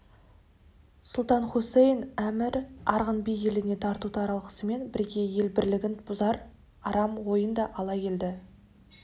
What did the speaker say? сұлтан хусаин әмір арғын би еліне тарту-таралғысымен бірге ел бірлігін бұзар арам ойын да ала келді